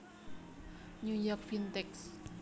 New York Vintage